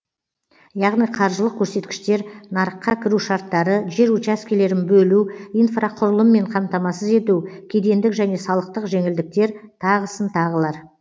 яғни қаржылық көрсеткіштер нарыққа кіру шарттары жер учаскелерін бөлу инфрақұрылыммен қамтамасыз ету кедендік және салықтық жеңілдіктер тағысын тағылар